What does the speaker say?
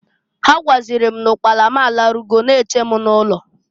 Ha gwazịrị m n'ụkpana m alarugo na-eche m n'ụlọ.